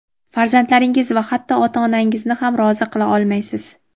farzandlaringiz va hatto ota-onangizni ham rozi qila olmaysiz.